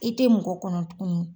I tɛ mɔgɔ kɔnɔ tugunni.